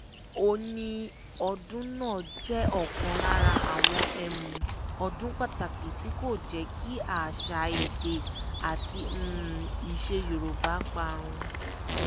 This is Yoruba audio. ó ní ọdún náà jẹ́ ọ̀kan lára àwọn ọdún pàtàkì tí kò jẹ́ kí àṣà èdè àti iṣẹ́ yorùbá parun